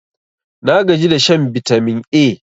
nagaji da shan bitamin A